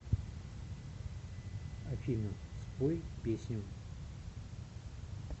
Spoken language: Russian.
афина спой песню